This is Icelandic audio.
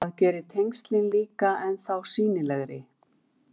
Það gerir tengslin líka ennþá sýnilegri.